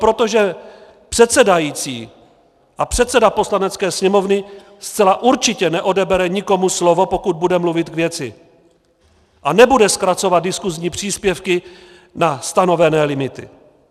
Protože předsedající a předseda Poslanecké sněmovny zcela určitě neodebere nikomu slovo, pokud bude mluvit k věci, a nebude zkracovat diskusní příspěvky na stanovené limity.